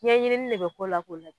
Ɲɛɲini de bɛ k'o la k'o la